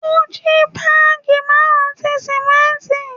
O ji baagi marun ti simẹnti